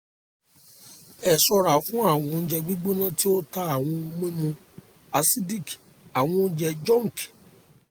ẹsára fún àwọn oúnjẹ gbígbóná tí ó ta àwọn ohun mímu acidic àwọn oúnjẹ junk